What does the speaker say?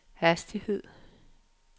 hastighed